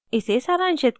इसे सारांशित करते हैं